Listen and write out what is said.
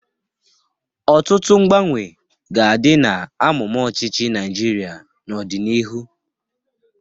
Ọtụtụ mgbanwe ga-adị n'amụma ọchịchị Naịjirịa n'ọdịnihu.